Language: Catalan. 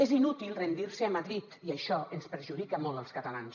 és inútil rendir se a madrid i això ens perjudica molt als catalans